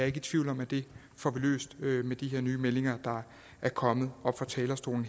ikke tvivl om at vi får det løst med de nye meldinger der er kommet her fra talerstolen